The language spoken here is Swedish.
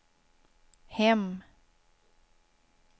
hem